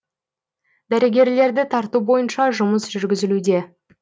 дәрігерлерді тарту бойынша жұмыс жүргізілуде